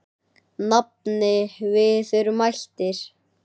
Nafni, við erum mættir